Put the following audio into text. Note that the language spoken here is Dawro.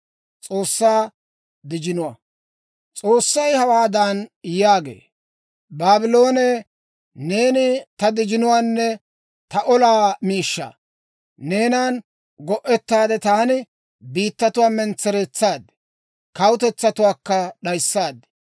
S'oossay hawaadan yaagee; «Baabloone, neeni ta dijinuwaanne ta olaa miishshaa. Neenan go'ettaade taani biittatuwaa mentsereetsaad; kawutetsatuwaakka d'ayissaad.